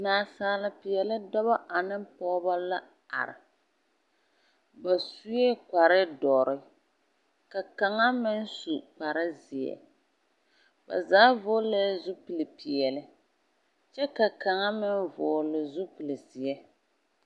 Nansaalepeԑle dͻbͻ aneŋ pͻgebͻ la are. Ba sue kpare dͻre, ka kaŋ meŋ su kpare zeԑ. Ba zaa vͻgelԑԑ zupili peԑle, kyԑ ka kaŋa meŋ vͻgele zupili zeԑ.